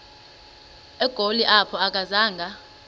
egoli apho akazanga